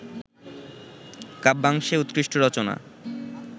কাব্যাংশে উৎকৃষ্ট রচনা